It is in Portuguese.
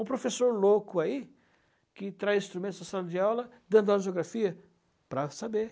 Um professor louco aí, que traz instrumentos para a sala de aula, dando aula de geografia, para saber.